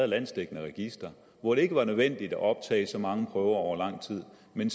landsdækkende register hvor det ikke var nødvendigt at optage så mange prøver over lang tid men